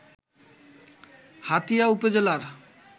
হাতিয়া উপজেলার